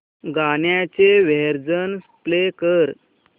गाण्याचे version play कर